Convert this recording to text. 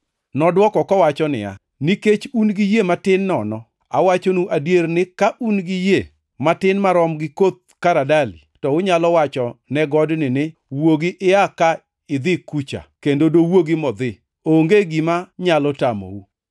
Nodwoko kowacho niya, “Nikech un gi yie matin nono. Awachonu adier ni ka un gi yie matin marom gi koth karadali to unyalo wacho ne godni ni, ‘Wuogi ia ka idhi kacha,’ kendo dowuogi modhi. Onge gima nyalo tamou. [